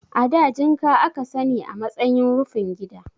A da jinka a ka sani a matsayin rufin gida.